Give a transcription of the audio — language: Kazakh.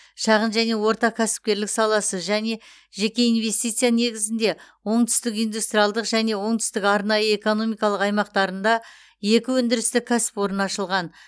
шағын және орта кәсіпкерлік саласы және жеке инвестиция негізінде оңтүстік индустриалдық және оңтүстік арнайы экономикалық аймақтарында екі өндірістік кәсіпорын ашылған